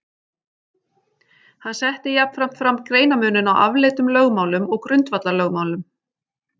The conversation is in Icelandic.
Hann setti jafnframt fram greinarmuninn á afleiddum lögmálum og grundvallarlögmálum.